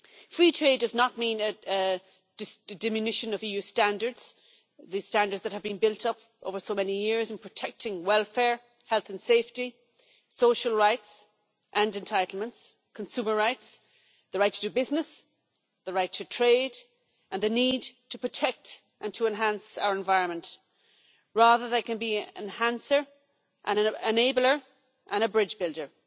Free trade does not mean a diminution of the EU standards that have been built up over so many years, protecting welfare, health and safety, social rights and entitlements, consumer rights, the right to do business, the right to trade and the need to protect and enhance our environment. Rather, they can be an enhancer, an enabler and a bridge builder.